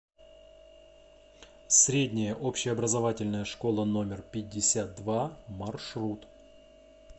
средняя общеобразовательная школа номер пятьдесят два маршрут